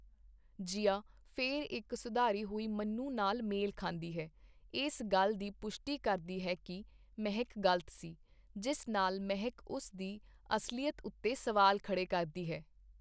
ਜੀਆ ਫਿਰ ਇੱਕ ਸੁਧਾਰੀ ਹੋਈ ਮਨੂ ਨਾਲ ਮੇਲ ਖਾਂਦੀ ਹੈ, ਇਸ ਗੱਲ ਦੀ ਪੁਸ਼ਟੀ ਕਰਦੀ ਹੈ ਕਿ ਮਹਿਕ ਗਲਤ ਸੀ, ਜਿਸ ਨਾਲ ਮਹਿਕ ਉਸ ਦੀ ਅਸਲੀਅਤ ਉੱਤੇ ਸਵਾਲ ਖੜ੍ਹੇ ਕਰਦੀ ਹੈ।